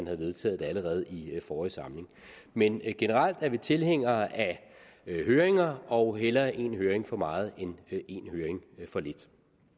havde vedtaget det allerede i forrige samling men generelt er vi tilhængere af høringer og hellere en høring for meget end en høring for lidt